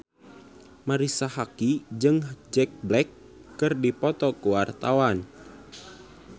Marisa Haque jeung Jack Black keur dipoto ku wartawan